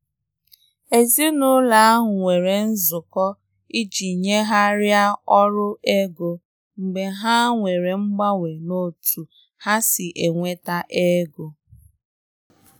Èzìnàụlọ ahụ nwere nzụkọ iji nyèghariá ọrụ ego mgbe ha nwere mganwe n' ọ̀tu ha si enweta ègò.